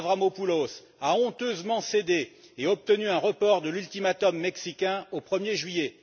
Avramopoulos, a honteusement cédé et obtenu un report de l'ultimatum mexicain au 1er juillet.